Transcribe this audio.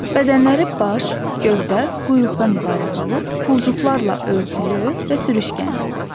Bədənləri baş, gövdə, quyruqdan ibarət olub, pulcuqlarla örtülü və sürüşkəndir.